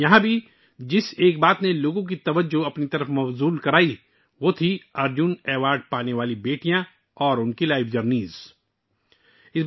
یہاں بھی ارجن ایوارڈ یافتہ بیٹیوں اور ان کی زندگی کے سفر نے لوگوں کی توجہ اپنی طرف مبذول کرائی